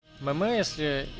мэмэ если